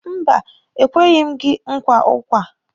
Mba, e kweghi m gị nkwa ụkwa.